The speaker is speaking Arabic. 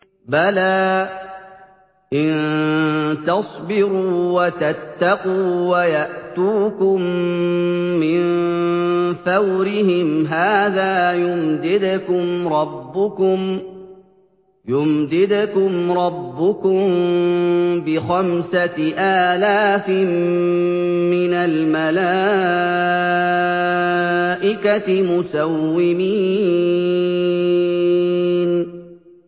بَلَىٰ ۚ إِن تَصْبِرُوا وَتَتَّقُوا وَيَأْتُوكُم مِّن فَوْرِهِمْ هَٰذَا يُمْدِدْكُمْ رَبُّكُم بِخَمْسَةِ آلَافٍ مِّنَ الْمَلَائِكَةِ مُسَوِّمِينَ